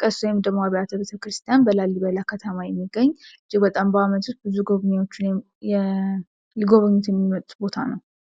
ቅርስ ወይንም ደግሞ አብያተክርስቲያን በላሊበላ ከተማ የሚገኝ እጅግ በጣም በአመት ውስጥ ብዙ ጎብኝዎች ሊጎበኙት የሚመጡት ቦታ ነው።